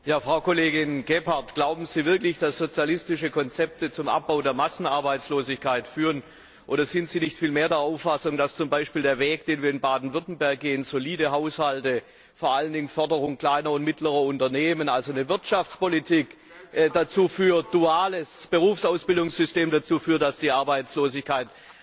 Herr Präsident! Frau Kollegin Gebhardt, glauben Sie wirklich, dass sozialistische Konzepte zum Abbau der Massenarbeitslosigkeit führen? Oder sind Sie nicht vielmehr der Auffassung, dass zum Beispiel der Weg, den wir in Baden Württemberg gehen solide Haushalte, vor allen Dingen die Förderung kleiner und mittlerer Unternehmen, also eine Wirtschaftspolitik und ein duales Berufsausbildungssystem dazu führt, dass die Arbeitslosigkeit